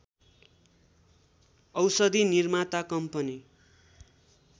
औषधि निर्माता कम्पनी